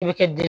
I bɛ kɛ